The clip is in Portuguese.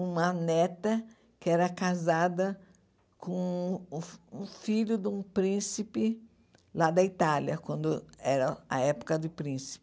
uma neta que era casada com o o filho de um príncipe lá da Itália, quando era a época do príncipe.